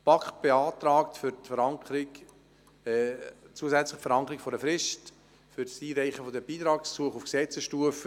Die BaK beantragt zusätzlich die Verankerung einer Frist für das Einreichen der Beitragsgesuche auf Gesetzesstufe.